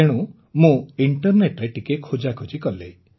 ତେଣୁ ମୁଁ ଇଣ୍ଟରନେଟ୍ରେ ଟିକିଏ ଖୋଜାଖୋଜି କଲି